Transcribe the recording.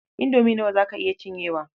Indomie nawa za ka iya cinyewa?